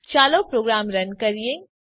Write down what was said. ચાલો program run કરીએ